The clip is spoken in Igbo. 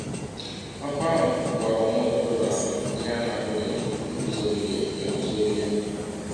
Ọ̀kụ ahụ ghọọrọ nwa ọkọrọbịa ahụ ihe a na - apụghị iguzogide eguzogide.